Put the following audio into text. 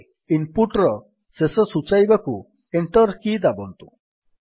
ଏବେ ଇନପୁଟ୍ ର ଶେଷ ସୂଚାଇବାକୁ ଏଣ୍ଟର୍ କି ଦାବନ୍ତୁ